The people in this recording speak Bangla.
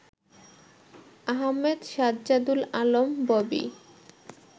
আহম্মেদ সাজ্জাদুল আলম ববি